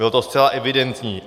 Bylo to zcela evidentní.